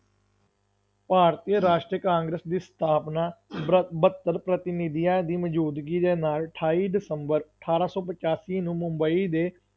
ਭਾਰਤੀ ਰਾਸ਼ਟਰੀ ਕਾਂਗਰਸ ਦੀ ਸਥਾਪਨਾ ਬਰ~ ਬਹੱਤਰ ਪ੍ਰਤੀਨਿਧੀਆਂ ਦੀ ਮੌਜੂਦਗੀ ਦੇ ਨਾਲ ਅਠਾਈ ਦਸੰਬਰ ਅਠਾਰਾਂ ਸੌ ਪਚਾਸੀ ਨੂੰ ਮੁੰਬਈ ਦੇ